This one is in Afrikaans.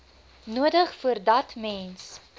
nodig voordat mens